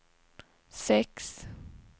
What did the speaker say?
sex